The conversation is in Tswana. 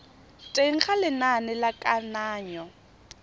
teng ga lenane la kananyo